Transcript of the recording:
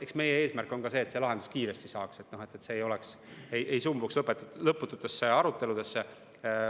Eks meie eesmärk on ka see, et probleem saaks lahenduse kiiresti, et see ei sumbuks lõpututesse aruteludesse.